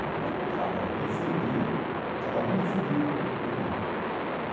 Muito pelo contrário, era defender... Cada um defendia o irmão.